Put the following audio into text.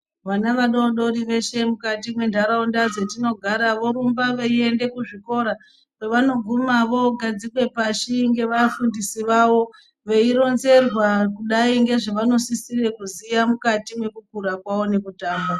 Vana vadodori veshe mukati mwe ndaraunda dzatinogara vorumba veyi enda ku zvikora pa vanoguma vo gadzikwe pashi nge vafundisi vavo vei ronzerwa kudai ngezve zvavano sisire kuziya mukati meku kura kwavo neku tamba.